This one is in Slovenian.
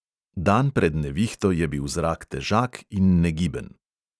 Dan pred nevihto je bil zrak težak in negiben.